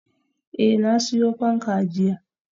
Eh, na siyo fanka jiya